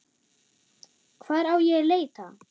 Hvar á ég að leita.